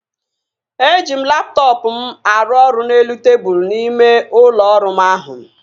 Eji m laptọọpụ m aru ọrụ n'elu tebụl ime ụlọ ọrụ m ahụ